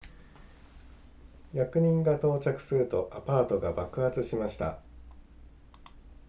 役人が到着するとアパートが爆発しました